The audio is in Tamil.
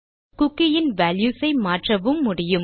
குக்கி இன் வால்யூஸ் ஐ மாற்றவும் முடியும்